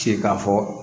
Se k'a fɔ